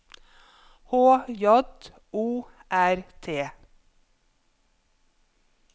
H J O R T